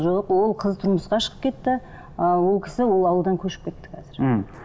жоқ ол қыз тұрмысқа шығып кетті ы ол кісі ол ауылдан көшіп кетті қазір мхм